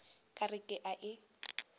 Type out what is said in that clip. ka re ke a e